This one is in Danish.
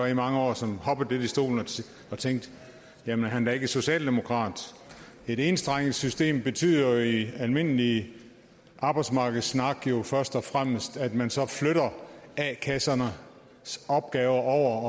i mange år som hoppede lidt i stolen og tænkte jamen er han da ikke socialdemokrat et enstrenget system betyder jo i almindelig arbejdsmarkedssnak først og fremmest at man så flytter a kassernes opgaver over